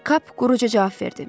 Kap quruca cavab verdi.